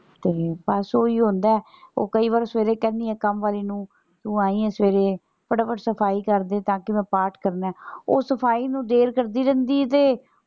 ਤੇ ਬਸ ਓਹੀ ਹੁੰਦਾ ਉਹ ਕਈ ਵਾਰ ਸਵੇਰੇ ਕਹਿਣੀ ਆਂ ਕੰਮ ਵਾਲੀ ਨੂੰ ਤੂੰ ਆਈਂ ਆ ਸਵੇਰੇ ਫਟਾਫਟ ਸਫਾਈ ਕਰਦੇ ਤਾਂ ਕਿ ਮੈਂ ਪਾਠ ਕਰਨਾ ਹੈ ਉਹ ਸਫਾਈ ਨੂੰ ਫੇਰ ਕਰਦੀ ਰਹਿੰਦੀ ਆ ਤੇ।